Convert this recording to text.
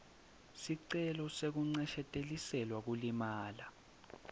sicelo sekuncesheteliselwa kulimala